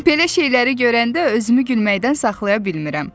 "Belə şeyləri görəndə özümü gülməkdən saxlaya bilmirəm."